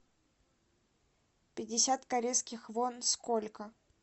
пятьдесят корейских вон сколько